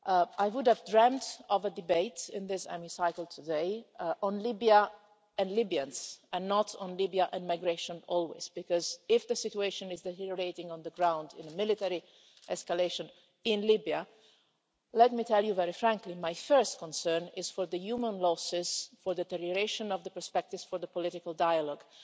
I would have dreamt of a debate in this Hemicycle today on Libya and Libyans and not always on Libya and migration, because if the situation is deteriorating on the ground in the military escalation in Libya, let me tell you very frankly my first concern is for the human losses, for the deterioration of the perspectives for the political dialogue.